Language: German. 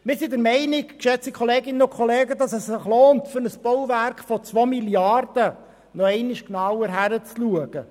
Wir sind der Meinung, dass es sich lohnt, bei einem Bauwerk von 2 Mrd. Franken nochmals genau hinzuschauen.